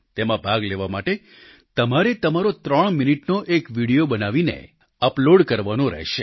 તેમાં ભાગ લેવા માટે તમારે તમારો ત્રણ મિનિટનો એક વીડિયો બનાવીને અપલોડ કરવાનો રહેશે